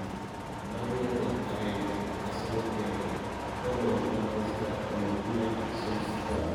Man United 1-Arsenal 1: Tomo kojulak boisiet ab Ole Gunnar Solskjaer